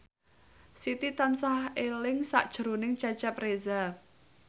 Siti tansah eling sakjroning Cecep Reza